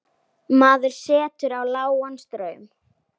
Maður setur á lágan straum.